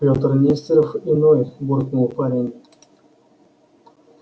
пётр нестеров иной буркнул парень